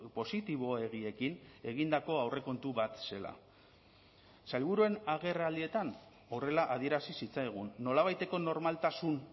positiboegiekin egindako aurrekontu bat zela sailburuen agerraldietan horrela adierazi zitzaigun nolabaiteko normaltasun